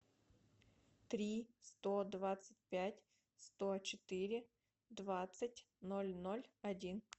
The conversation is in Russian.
три сто двадцать пять сто четыре двадцать ноль ноль один